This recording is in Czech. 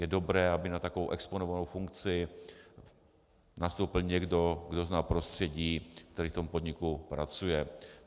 Je dobré, aby na takovou exponovanou funkci nastoupil někdo, kdo zná prostředí, který v tom podniku pracuje.